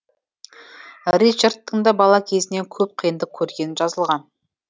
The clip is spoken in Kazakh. ричардтың да бала кезінен көп қиындық көргені жазылған